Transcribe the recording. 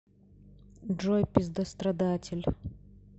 джой пиздострадатель